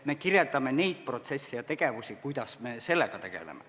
Me kirjeldame neid protsesse ja tegevusi, mille abil me sellega tegeleme.